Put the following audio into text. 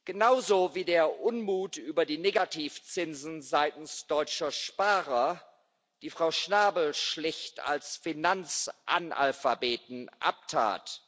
Genauso wie der Unmut über die Negativzinsen seitens deutscher Sparer, die Frau Schnabel schlicht als Finanzanalphabeten abtat.